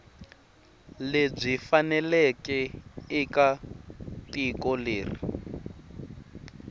lebyi faneleke eka tiko leri